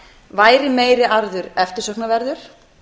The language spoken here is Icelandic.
væri meiri arður eftirsóknarverður